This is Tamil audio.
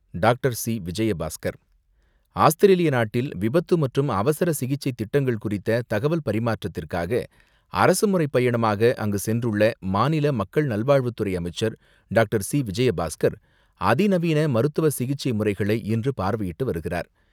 டாக்டர்.சி.விஜயபாஸ்கர் ஆஸ்திரேலிய நாட்டில், விபத்து மற்றும் அவசர சிகிச்சை திட்டங்கள் குறித்த தகவல் பரிமாற்றத்திற்காக அரசுமுறை பயணமாக அங்கு சென்றுள்ள மாநில மக்கள் நல்வாழ்வுத்துறை அமைச்சர் டாக்டர்.சி.விஜயபாஸ்கர் அதிநவீன மருத்துவ சிகிச்சை முறைகளை இன்று பார்வையிட்டு வருகிறார்.